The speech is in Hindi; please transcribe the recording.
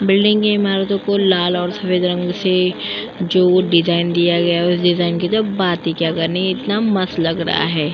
बिल्डिंग की इमारतों को लाल और सफ़ेद रंग से जो डिज़ाइन दिया गया है उस डिज़ाइन की तो बात ही क्या करनी इतना मस्त लग रहा है।